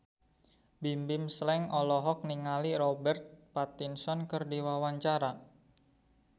Bimbim Slank olohok ningali Robert Pattinson keur diwawancara